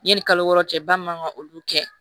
Yanni kalo wɔɔrɔ cɛ ba man kan ka olu kɛ